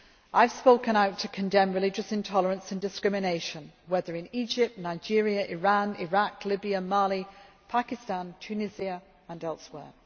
I have spoken out to condemn religious intolerance and discrimination, whether in Egypt, Nigeria, Iran, Iraq, Libya, Mali, Pakistan, Tunisia or elsewhere.